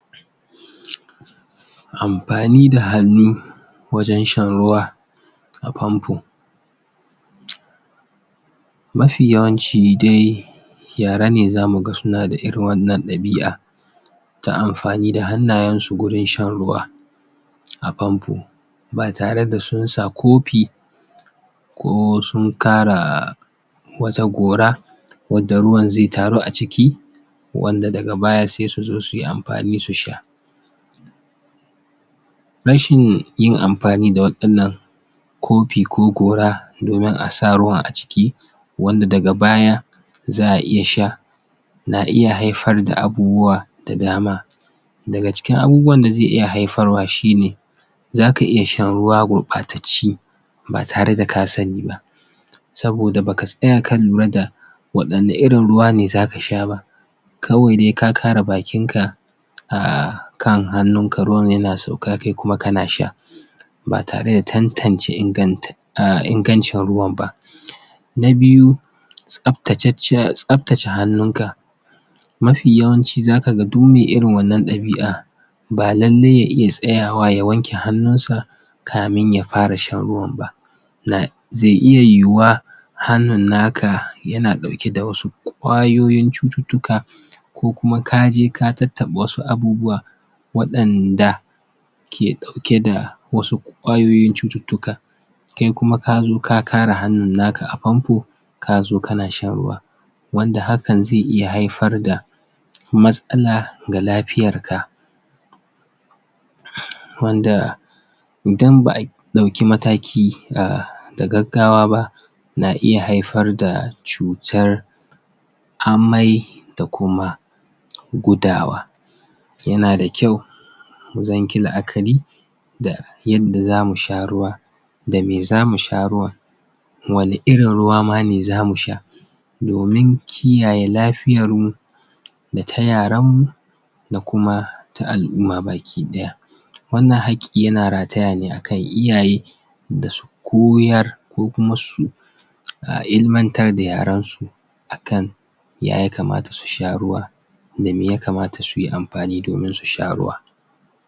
Amfani da hannu wajen shan ruwa a fanfo mafi yawanci dai yara ne zamu ga suna da irin wannan ɗabi'a ta amfani da hannayen su gurin shan ruwa a fanfo ba tare da sun sa kofi ko sun kara wata gora wanda ruwan zai taru a ciki wanda daga baya sai su zo su yi amfani su sha rashin yin amfani da waɗannan kofi ko gora domin a sa ruwan a ciki wanda daga baya za'a iya sha na iya haifar da abubuwa da dama daga cikin abubuwan da zai iya haifarwa shi ne zaka iya shan ruwa gurɓatacce ba tare da ka sani ba saboda baka tsaya ka lura da waɗanna irin ruwa ne zaka sha ba kawai dai ka kara bakin ka a kan hannun ka ruwan yana sauka kai kuma kana sha ba tare da tantance inganta ah ingancin ruwan ba na biyu, tsabtace hannun ka mafi yawanci zaka ga duk me irin wannan ɗabi'a ba lallai ya iya tsayawa ya wanke hannun sa kamin ya fara shan ruwan ba zai iya yiwuwa hannun naka yana ɗauke da wasu ƙwayoyin cututtuka ko kuma kaje ka tattaɓa wasu abubuwa waɗanda ke ɗauke da wasu ƙwayoyin cututtuka kai kuma kazo ka kara hannun naka a fanfo kazo kana shan ruwa wanda hakan zai iya haifar da matsala ga lafiyar ka wanda idan ba'a ɗauki mataki da gaggawa ba na iya haifar da cutar amai da kuma gudawa yana da kyau wajen ki yi la'akari da yadda zamu sha ruwa da me zamu sha ruwan wani irin ruwa ma ne zamu sha domin kiyaye lafiyar mu da ta yaren mu da kuma ta al'umma bakiɗaya wannan haƙƙi yana rataya ne akan iyaye da su koyar ko kuma su ilimantar da yaran su a kan ya yakamata su sha ruwa da me yakamata suyi amfani domin su sha ruwa.